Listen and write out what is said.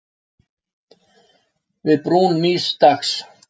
Við brún nýs dags.